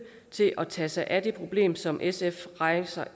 til at tage sig af det problem som sf rejser